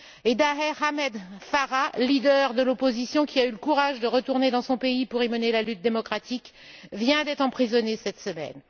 Et Daher Ahmed Farah, leader de l'opposition, qui a eu le courage de retourner dans son pays pour y mener la lutte démocratique, vient d'être emprisonné cette semaine.